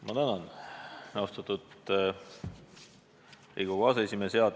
Ma tänan, austatud Riigikogu aseesimees!